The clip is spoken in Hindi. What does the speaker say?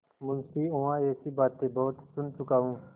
मुंशीऊँह ऐसी बातें बहुत सुन चुका हूँ